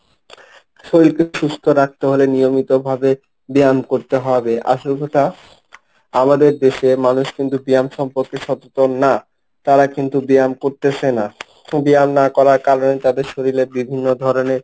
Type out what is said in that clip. শরীলকে সুস্থ রাখতে হলে নিয়মিতভাবে ব্যায়াম করতে হবে, আসল কথা আমাদের দেশে মানুষ কিন্তু ব্যায়াম সম্পর্কে সচেতন না। তারা কিন্তু ব্যায়াম করতেছে না, ব্যায়াম না করার কারণে তাদের শরীলে বিভিন্ন ধরণের,